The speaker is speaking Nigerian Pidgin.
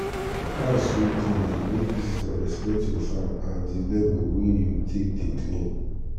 net wey dem dey take cover farm dey help block sun for where tree no dey.